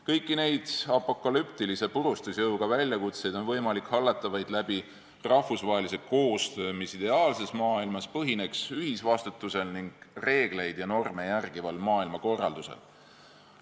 Kõiki neid apokalüptilise purustusjõuga väljakutseid on võimalik hallata vaid läbi rahvusvahelise koostöö, mis ideaalses maailmas põhineks ühisvastutusel ning reegleid ja norme järgival maailmakorraldusel.